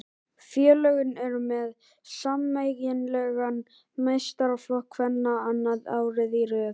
Félögin eru með sameiginlegan meistaraflokk kvenna annað árið í röð.